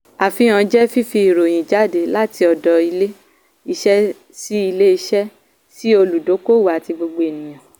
àfihàn jẹ́ fífi ìròyìn jáde láti ọ̀dọ̀ ilé iṣẹ́ sí ilé iṣẹ́ sí olùdókòwò àti gbogbo ènìyàn.